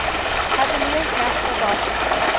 cavaliers national basketball